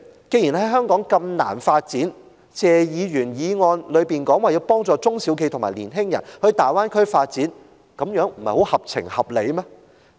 既然在香港如此難以發展，謝議員的議案提到要幫助中小企和年青人到大灣區發展，這樣不是很合情合理嗎？